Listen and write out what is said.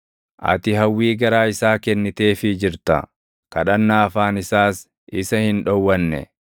Ati hawwii garaa isaa kenniteefii jirta; kadhannaa afaan isaas isa hin dhowwanne.